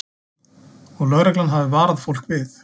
Og lögreglan hafi varað fólk við